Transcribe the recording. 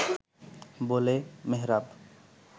বলে মেহরাব